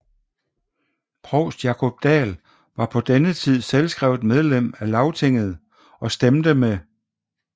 Provst Jákup Dahl var på denne tid selvskrevent medlem af Lagtinget og stemte med Sjálvstýrisflokkurin